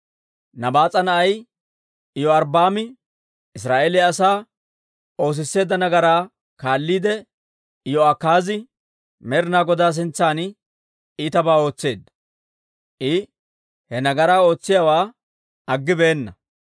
Nabaas'a na'ay Iyorbbaami Israa'eeliyaa asaa oosisseedda nagaraa kaalliide, Iyo'akaazi Med'ina Godaa sintsan iitabaa ootseedda; I he nagaraa ootsiyaawaa aggibeenna.